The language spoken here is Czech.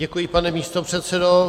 Děkuji, pane místopředsedo.